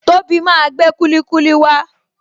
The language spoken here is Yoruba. Tobi máa gbé kulikuli wa